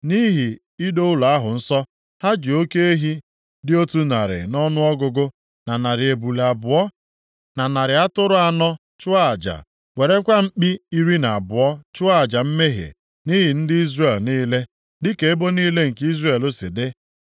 Nʼihi ido ụlọ ahụ nsọ, ha ji oke ehi dị otu narị nʼọnụọgụgụ, na narị ebule abụọ, na narị atụrụ anọ chụọ aja, werekwa mkpi iri na abụọ chụọ aja mmehie nʼihi ndị Izrel niile, dịka ebo niile nke Izrel si dị.